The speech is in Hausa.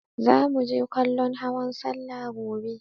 Zamu je kallon hawan salla gobe.